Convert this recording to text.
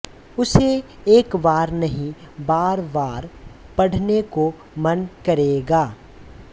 उसे एक बार नहीं बारबार पढ़ने को मन करेगा